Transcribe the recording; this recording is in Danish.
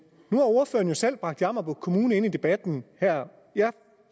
ordføreren jo selv bragt jammerbugt kommune ind i debatten her jeg